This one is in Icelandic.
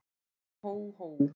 Hó, hó, hó!